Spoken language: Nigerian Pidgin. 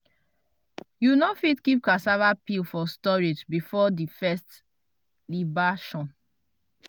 you no fit keep cassava peel for storage before di first libation.